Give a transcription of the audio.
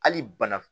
Hali bana